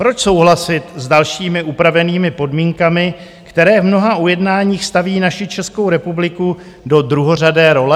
Proč souhlasit s dalšími upravenými podmínkami, které v mnoha ujednáních staví naši Českou republiku do druhořadé role?